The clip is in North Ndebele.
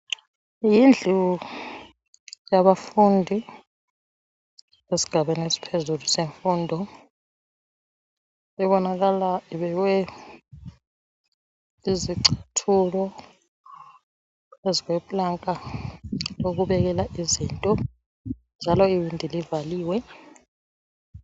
Indlu yabafundi esigabeni esiphezulu semfundo ibonakala ibekwe izicathulo phezukwe planka lokubekela izinto njalo iwindi livaliwe.